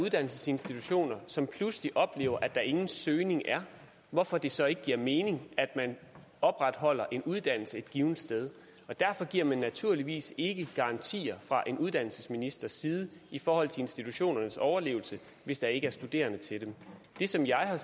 uddannelsesinstitutioner som pludselig oplever at der ingen søgning er hvorfor det så ikke giver mening at man opretholder en uddannelse et givent sted og derfor giver man naturligvis ikke garantier fra en uddannelsesministers side i forhold til institutionernes overlevelse hvis der ikke er studerende til dem det som jeg